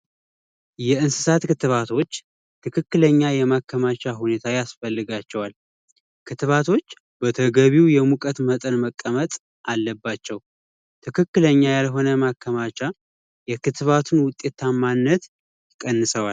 የእንሰሳት ክትባቶች ትክክለኛ የሆነ ማከማቻ ቦታ ያስፈልጋቸዋል። ክትባቶች በተገቢው የሙቀት መጠን መቀመጥ አለባቸው። ትክክለኛ ያልሆነ ማከማቻ የክትባቱን ውጤታማነት ይቀንሰዋል።